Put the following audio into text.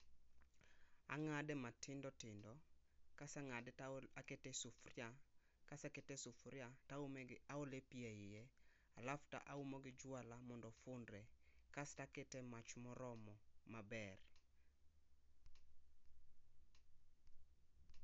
Ang'ade matindo tindo, kase ng'ade takete e sufuria. Kase kete e sufuria taole pi eiye alafu taume gi juala mondo ofundre. Kas to akete e mach moromo maber.